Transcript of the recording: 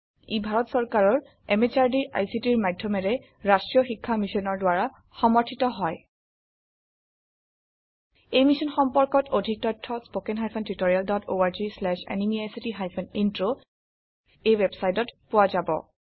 ই ভাৰত চৰকাৰৰ MHRDৰ ICTৰ মাধয়মেৰে ৰাস্ত্ৰীয় শিক্ষা মিছনৰ দ্ৱাৰা সমৰ্থিত হয় এই মিশ্যন সম্পৰ্কত অধিক তথ্য spoken hyphen tutorial dot org slash এনএমইআইচিত হাইফেন ইন্ট্ৰ ৱেবচাইটত পোৱা যাব